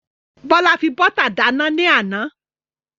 Bọ́lá fi bọ́tà dáná ní àná.